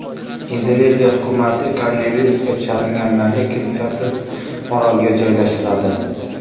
Indoneziya hukumati koronavirusga chalinganlarni kimsasiz orolga joylashtiradi .